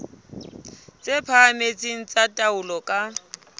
tse phahameng tsa taolo ka